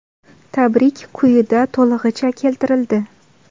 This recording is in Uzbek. Tabrik quyida to‘lig‘icha keltirildi.